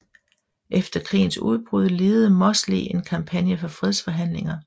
Efter krigens udbrud ledede Mosley en kampagne for fredsforhandlinger